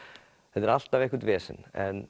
þetta er alltaf eitthvert vesen en